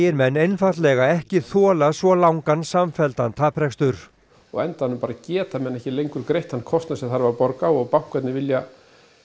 menn einfaldlega ekki þola svo langan samfelldan taprekstur og á endanum bara geta menn ekki lengur greitt þann kostnað sem þarf að borga og bankarnir vilja